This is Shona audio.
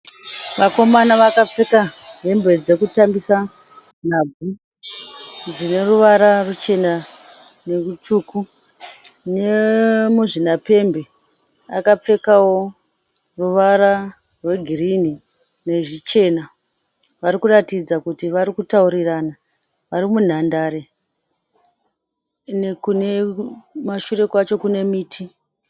Vakomana vakapfeka hembe dzekutambisa nhabvu dzineruvara ruchena nerutsvuku. Nemuzvina pembe akapfekawo ruvara rwe girinhi nezvichena . Varikuratidza kuti vari kutaurirana vari munhandare, kumashure kwacho kune miti.